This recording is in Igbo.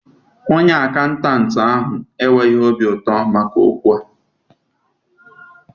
Onye akaụntantị enweghị obi ụtọ maka okwu a